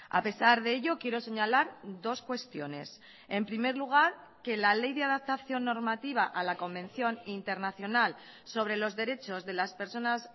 a pesar de ello quiero señalar dos cuestiones en primer lugar que la ley de adaptación normativa a la convención internacional sobre los derechos de las personas